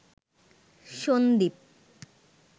Sandeep